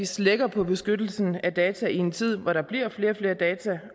slækker på beskyttelsen af data i en tid hvor der bliver flere og flere data